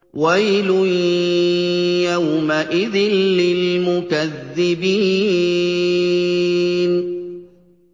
وَيْلٌ يَوْمَئِذٍ لِّلْمُكَذِّبِينَ